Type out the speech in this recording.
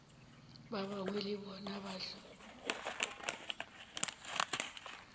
ba gagwe le bona mahlo